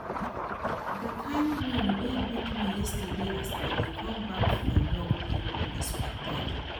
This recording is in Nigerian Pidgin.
The kin rain wey beat me yesterday as I dey come back from work dey unexpected